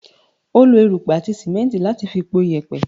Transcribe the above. She used sand and cement to make the concrete